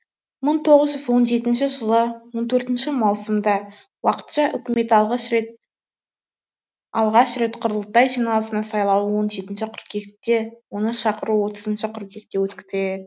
мың тоғыз жүз он жетінші жылы он төртінші маусымда уақытша үкімет алғаш рет құрылтай жиналысының сайлауы он жетінші қыркүйекте оны шақыру отызыншы қыркүйекте өткізіледі